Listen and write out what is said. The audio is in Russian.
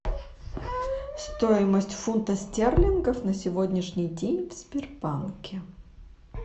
стоимость фунта стерлингов на сегодняшний день в сбербанке